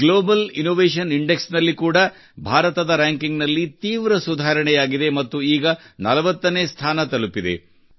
global Innovation Index ನಲ್ಲಿ ಕೂಡಾ ಭಾರತದ ರ್ಯಾಂಕಿಂಗ್ ನಲ್ಲಿ ಅತ್ಯಂತ ಸುಧಾರಣೆಯಾಗಿದೆ ಮತ್ತು ಈಗ 40 ನೇ ಸ್ಥಾನ ತಲುಪಿದೆ